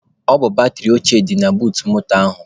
Ọ bụ batịrị ochịe dị na buut moto ahụ.